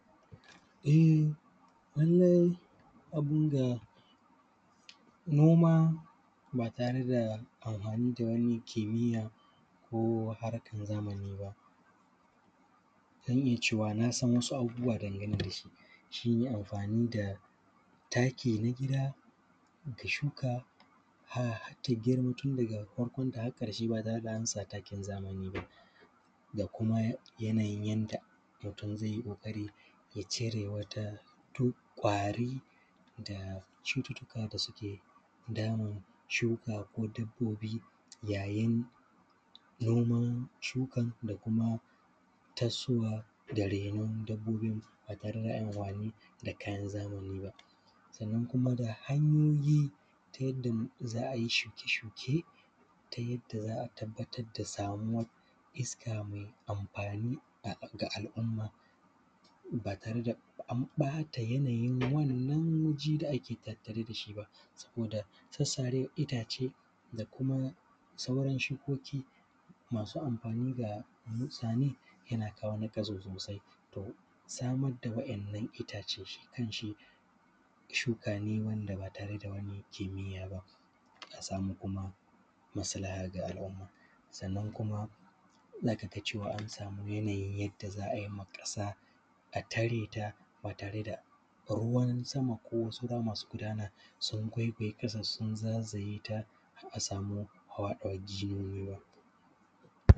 E, wannan abin ga, nom aba tare da amhwani da wani kimiyya ko harkan zamani ba, zan iya cewa na san wasu abubuwa dangane da su, shi ne amfani da taki na gida, da shuka hat ta girma, tun daga farkonta haƙ ƙarshe ba tare da an sat akin zamani ba. Ga kuma yanayin yadda mutun ze yi ƙoƙari ya cire wata tu; ƙwari da cututtuka da suke damun shuka ko dabbobi yayin noman shukan da kuma tassowa da renon dabbobin ba tare da an yi amhwani da kayan zamani ba. Sannan, kuma ga hanyoyi ta yadda za a yi shuke-shuke, ta yadda za a tabbatad da samuwar iska me amfani a; ga al’umma ba tare da an ƃata yanayin wannan waje da ake tattare da su ba. Saboda sassare itace da kuma sauran shukoki masu amfani ga – yana kawo naƙasu sosai, to samad da wa’yannan iatce shi kan shi, shuka ne wand aba tare da wani kimiyya ba, a samu kuma masalaha ga al’uma. Sannan kuma, z aka ga cewa an sami yanayi yadda za a yi ma ƙasa, a tare ta ba tare da ruwan sama ko wasu ruwa masu gudana, sun gwaigwaye ƙasan sun zazayeta har a sami hwaɗawar jiyoyin ruwa.